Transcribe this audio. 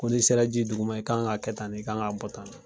Ko n'i sera ji dugu ma, i' kan ka kɛ tan, i' kan ka bɔ tan